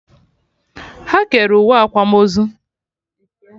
Ha kere uwe akwamozu